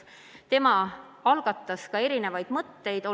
Tema algatas ka erinevaid mõtteid.